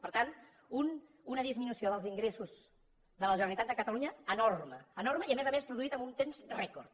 per tant una disminució dels ingressos de la generalitat de catalunya enorme enorme i a més a més produïda en un temps rècord